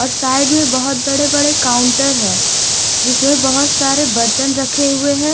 और साइड मे बहुत बड़े बड़े काउन्टर है जिसमे बहुत सारे बर्तन रखे हुए है।